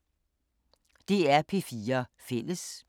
DR P4 Fælles